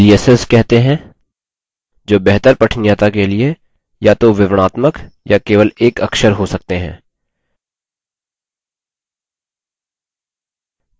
इन्हें aliases aliases कहते हैं जो बेहतर पठनीयता के लिए या तो विवरणात्मक या केवल एक अक्षर हो सकते हैं